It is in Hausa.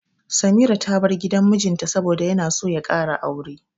Samira ta bar gidan mijinta saboda yana so ya ƙara aure.